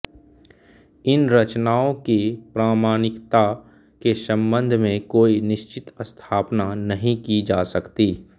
इन रचनाओं की प्रामाणिकता के संबंध में कोई निश्चित स्थापना नहीं की जा सकती